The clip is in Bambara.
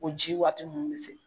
Ko ji waati minnu bɛ se